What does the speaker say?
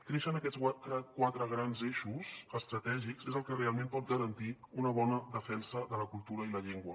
créixer en aquests quatre grans eixos estratègics és el que realment pot garantir una bona defensa de la cultura i la llengua